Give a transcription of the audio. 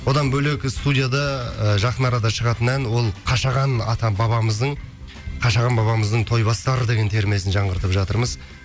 одан бөлек студияда жақын арада шығатын ән ол қашаған ата бабамыздың қашаған бабамыздың тойбастар деген термесін жаңғыртып жатырмыз